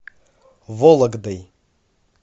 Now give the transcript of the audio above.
вологдой